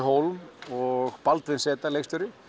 Hólm og Baldvin z leikstjóri